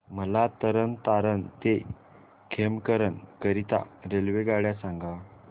मला तरण तारण ते खेमकरन करीता रेल्वेगाड्या सांगा